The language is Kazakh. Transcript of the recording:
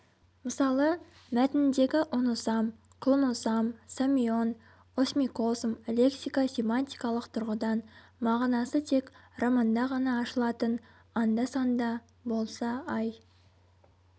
мысалы мәтініндегі оносам клоносам самион осьмикосм лексика-семантикалық тұрғыдан мағынасы тек романда ғана ашылатын анда-санда болса ай